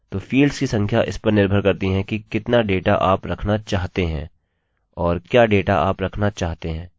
अच्छा तो फील्ड्सfields की संख्या इस पर निर्भर करती है कि कितना डेटा आप रखना चाहते हैं और क्या डेटा आप रखना चाहते हैं